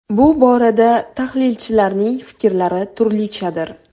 Bu borada tahlilchilarning fikrlari turlichadir.